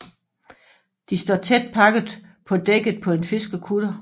De står tæt pakket på dækket på en fiskekutter